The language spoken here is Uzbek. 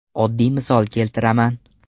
Oddiy misol keltiraman.